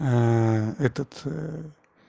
этот